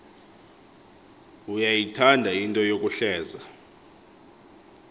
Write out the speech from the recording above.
uyayithanda into yokuhleza